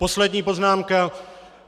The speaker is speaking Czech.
Poslední poznámka.